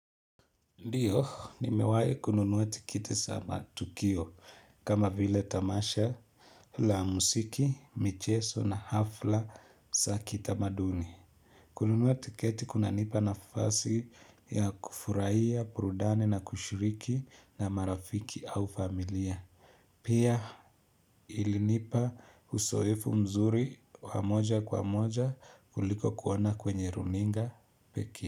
Ndiyo, nimewahi kununuwa tikiti za matukio kama vile tamasha la muziki, michezo na hafla zakitamaduni. Kununua tiketi kunanipa nafasi ya kufurahia, burudani na kushiriki na marafiki au familia. Pia ilinipa uzoefu mzuri wamoja kwa moja kuliko kuona kwenye runinga pekee.